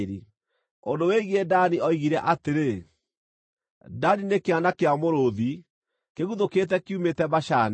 Ũndũ wĩgiĩ Dani oigire atĩrĩ: “Dani nĩ kĩana kĩa mũrũũthi, kĩguthũkĩte kiumĩte Bashani.”